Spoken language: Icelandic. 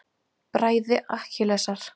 Bræði Akkilesar.